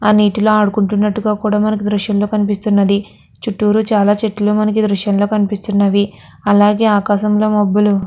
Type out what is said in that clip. ఆ నీటిలో ఆడు కున్నట్టుగా మనకి ఈ దృశ్యం కనిపిస్తునది చుట్టూరు చాలా చెట్లు కూడా మనకి ఈ దృశ్యం లో కనిపిస్తున్నవి అలాగే ఆకాశం లో మబ్బులు.